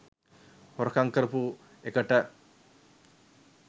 හොරකම් කරපු එකට